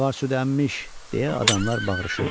Canavar südəmmiş, – deyə adamlar bağırışırdılar.